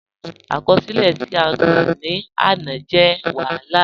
Akọsilẹ̀ ti a gbá ni áná jẹ̀ wahálà.